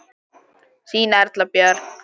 Þín Erla Björk.